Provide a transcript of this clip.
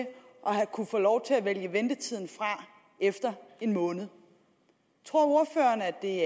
kunne få lov til at vælge ventetiden fra efter en måned tror ordføreren at det